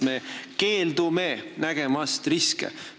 Me keeldume nägemast riske.